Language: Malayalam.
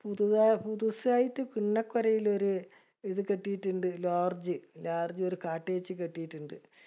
പുതുസായിട്ട് പിള്ളകരയിലൊരു ഇത് കെട്ടീട്ടുണ്ട്. Lodge ജ്ജ്. Lodge ജ്ജ് ഒരു cottage ജ്ജ് കെട്ടീട്ടുണ്ട്.